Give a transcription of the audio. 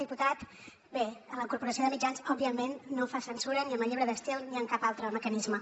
diputat bé la corporació de mitjans òbviament no fa censura ni amb el llibre d’estil ni amb cap altre mecanisme